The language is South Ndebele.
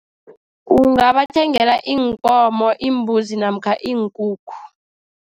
Ungabathengela iinkomo imbuzi namkha iinkukhu.